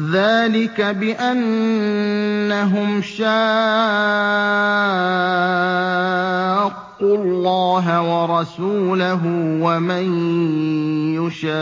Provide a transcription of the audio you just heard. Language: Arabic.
ذَٰلِكَ بِأَنَّهُمْ شَاقُّوا اللَّهَ وَرَسُولَهُ ۖ وَمَن يُشَاقِّ